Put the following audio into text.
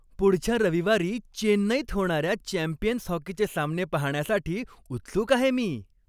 पुढच्या रविवारी चेन्नईत होणाऱ्या चॅम्पियन्स हॉकीचे सामने पाहण्यासाठी उत्सुक आहे मी.